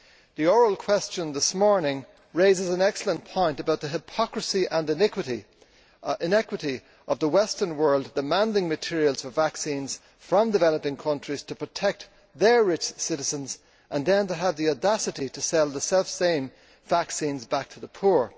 The oral question this morning raises an excellent point about the hypocrisy and inequity of the Western world demanding materials for vaccines from developing countries to protect their rich citizens, and then having the audacity to sell the selfsame vaccines back to the poor.